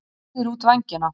Breiðir út vængina.